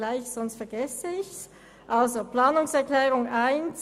Hier liegen zwei Abänderungsanträge und zwei Planungserklärungen vor.